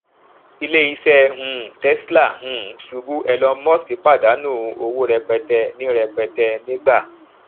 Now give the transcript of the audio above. ilé iṣé um tesla um ṣubú elon musk pàdánù owó rẹpẹtẹ ní rẹpẹtẹ ní gbà